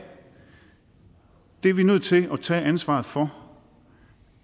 det er vi nødt til at tage ansvaret for